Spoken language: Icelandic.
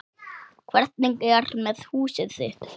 Hvernig er með húsið þitt